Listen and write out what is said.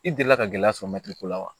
I delila ka gɛlɛya sɔrɔ ko la wa